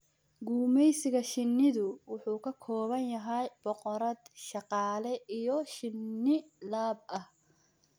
Gumeysiga shinnidu wuxuu ka kooban yahay boqorad, shaqaale, iyo shinni lab ah.